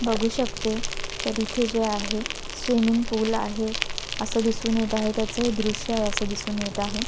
बघू शकते तर इथे जे आहे स्विमिंग पूल आहे असं दिसून येत आहे त्याचे दृश्य आहे असं दिसून येत आहे.